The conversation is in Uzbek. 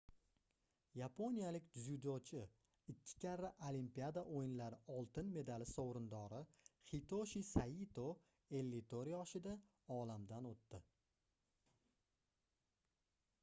yaponiyalik dzyudochi ikki karra olimpiada oʻyinlari oltin medali sovrindori hitoshi saito 54 yoshida olamdan oʻtdi